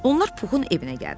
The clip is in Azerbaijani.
Onlar Puxun evinə gəldilər.